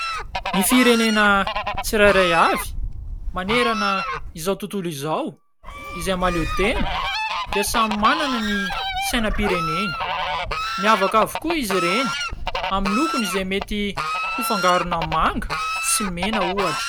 Ny firenena tsirairay avy manerana izao tontolo izao izay mahaleotena dia samy manana ny sainampireneny miavaka avokoa izy ireny amin'ny lokony izay mety ho fangarona manga sy mena ohatra